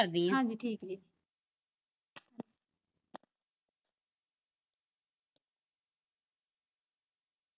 ਹਾਂਜੀ ਠੀਕ ਜੇ